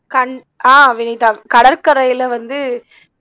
கண் ஆஹ் வினிதா கடற்கரையில வந்து